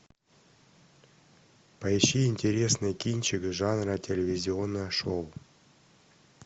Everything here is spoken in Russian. поищи интересный кинчик жанра телевизионное шоу